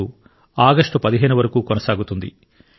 2023 August 15 వరకు కొనసాగుతుంది